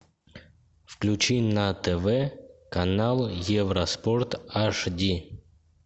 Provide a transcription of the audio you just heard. включи на тв канал евроспорт аш ди